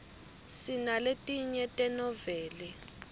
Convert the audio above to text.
sinaletinye tenoveli